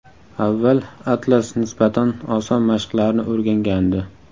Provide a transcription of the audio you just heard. Avval Atlas nisbatan oson mashqlarni o‘rgangandi.